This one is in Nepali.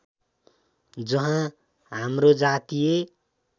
जहाँ हाम्रो जातीय